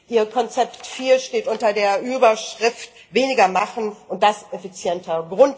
Ihr Konzept 4 steht unter der Überschrift weniger machen und das effizienter!